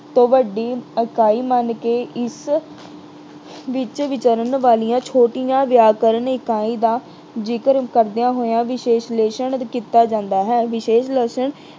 ਤੋਂ ਵੱਡੀ ਇਕਾਈ ਮੰਨ ਕੇ ਇਸ ਵਿੱਚ ਵਿਚਰਨ ਵਾਲੀਆਂ ਛੋਟੀਆਂ ਵਿਆਕਰਨ ਇਕਾਈਆਂ ਦਾ ਜ਼ਿਕਰ ਕਰਦਿਆਂ ਹੋਇਆਂ ਵਿਸ਼ਲੇਸ਼ਣ ਕੀਤਾ ਜਾਂਦਾ ਹੈ। ਵਿਸ਼ਲੇਸ਼ਣ